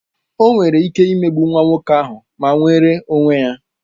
O nwere ike ịmegbu nwa nwoke ahụ ma nweere onwe ya